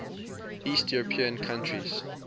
east european countries